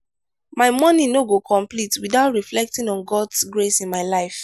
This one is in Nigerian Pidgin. my morning no go complete without reflecting on god's grace in my life.